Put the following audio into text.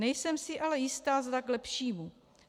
Nejsem si ale jistá, zda k lepšímu.